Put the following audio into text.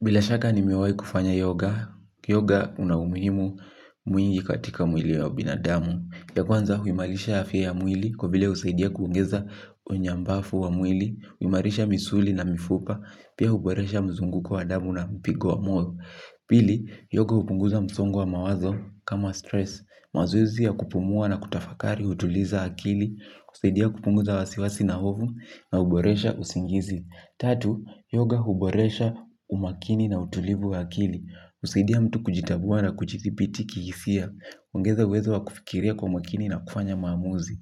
Bilashaka nimewai kufanya yoga, yoga unahumimu mwingi katika mwili ya binadamu. Ya kwanza huimalisha afya ya mwili kwa vile usaidia kuongeza onyambafu wa mwili, huimarisha misuli na mifupa, pia huboresha mzunguko wa damu na mpigo wa mwoyo. Pili, yoga hupunguza msongo wa mawazo kama stress. Mazoezi ya kupumua na kutafakari utuliza akili, husaidia kupunguza wasiwasi na hovu na huboresha usingizi. Tatu, yoga huboresha umakini na utulivu wa akili. Husaidia mtu kujitabua na kujithibiti kihisia. Huongeza uwezo wa kufikiria kwa makini na kufanya maamuzi.